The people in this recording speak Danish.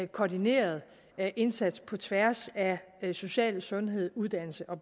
koordineret indsats på tværs af social sundhed uddannelse og